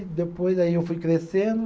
Depois, aí eu fui crescendo.